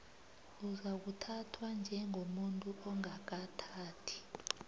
uzakuthathwa njengomuntu ongakathathi